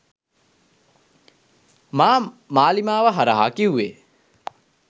මා මාලිමාව හරහා කිව්වෙ.